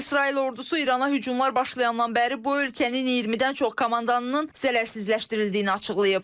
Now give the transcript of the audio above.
İsrail ordusu İrana hücumlar başlayandan bəri bu ölkənin 20-dən çox komandanının zərərsizləşdirildiyini açıqlayıb.